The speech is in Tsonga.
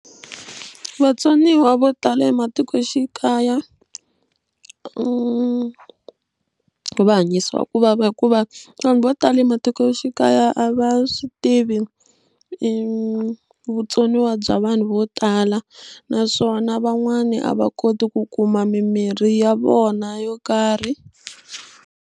Vatsoniwa vo tala ematikoxikaya va hanyisiwa ku vava hikuva vanhu vo tala ematikoxikaya a va swi tivi i vutsoniwa bya vanhu vo tala naswona van'wani a va koti ku kuma mimirhi ya vona yo karhi.